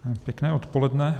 Pěkné odpoledne.